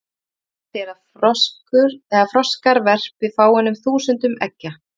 Algengast er að froskar verpi fáeinum þúsundum eggja.